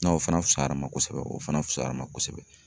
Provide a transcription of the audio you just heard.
N'a o fana fusayara ma kosɛbɛ, o fana fusayara ma kosɛbɛ.